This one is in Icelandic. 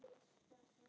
Raggi er tíu.